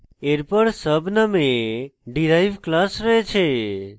এরপর sub নামে derive class রয়েছে